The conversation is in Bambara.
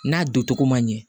N'a don togo ma ɲɛ